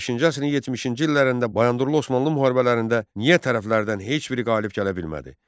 15-ci əsrin 70-ci illərində Bayandurlu Osmanlı müharibələrində niyə tərəflərdən heç biri qalib gələ bilmədi?